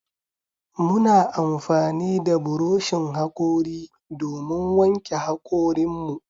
Muna amfani da buroshin hakori domin wanke hakorin mu.